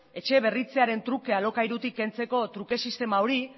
etxe berritzearen truke alokairutik kentzeko truke sistema hori